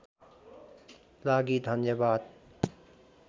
लागि धन्यवाद